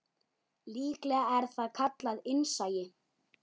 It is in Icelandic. Líklega er það kallað innsæi.